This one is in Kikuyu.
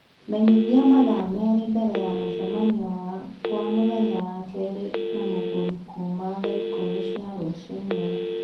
menyithia mathaa meeri mbere ya mũcemanio wakwa mũthenya wa keeri na mũgũri kũũma thaa ikũmi cia rũciinĩ